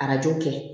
Arajo kɛ